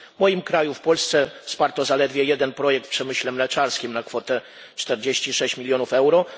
W moim kraju, w Polsce, wsparto zaledwie jeden projekt w przemyśle mleczarskim, na kwotę 46 milionów euro.